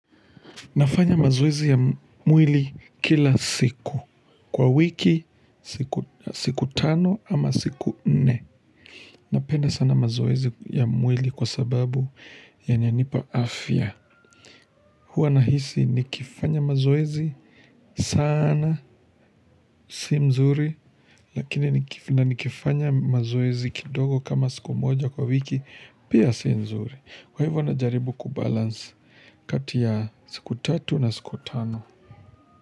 Nafanya mazoezi ya mwili kila siku kwa wiki siku tano ama siku nne. Napenda sana mazoezi ya mwili kwa sababu ya nyanipa afya. Huanahisi nikifanya mazoezi sana si mzuri lakini nikifanya mazoezi kidogo kama siku moja kwa wiki pia si mzuri. Kwa hivyo najaribu kubalance kati ya siku tatu na siku tano.